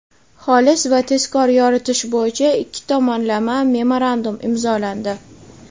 xolis va tezkor yoritish bo‘yicha ikki tomonlama memorandum imzolandi.